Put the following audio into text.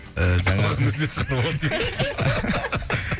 ыыы жаңағы қалғанын өздері шығарып алады дей ма